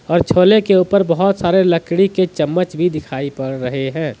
और छोले के ऊपर बहोत सारे लकड़ी के चम्मच भी दिखाई पड़ रहे हैं।